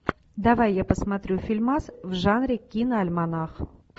давай я посмотрю фильмас в жанре киноальманах